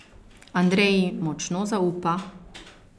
Andreji močno zaupa.